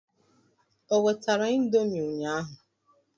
O wetara indomi ụnyaahụ?